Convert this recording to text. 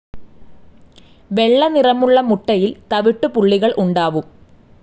വെള്ളനിറമുള്ള മുട്ടയിൽ തവിട്ടു പുള്ളികൾ ഉണ്ടാവും.